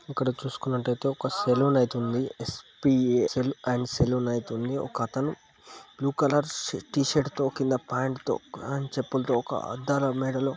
ఇక్కడ చూసుకున్నట్లయితే ఒక సెలూన్ అయితే ఉంది ఎస్-పి-ఏ-ఏస్ అండ్ సెలూన్ అయితే ఉందిఒకతను బ్లూ కలర్ టీ షర్టు తో కింద ప్యాంటు తో అండ్ చెప్పులతో ఒక అద్దాల మేడలో --